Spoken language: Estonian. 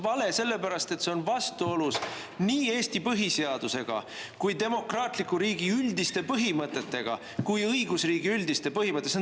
Vaata, see on vale sellepärast, et see on vastuolus nii Eesti põhiseadusega, demokraatliku riigi üldiste põhimõtetega kui ka õigusriigi üldiste põhimõtetega.